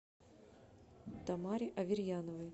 тамаре аверьяновой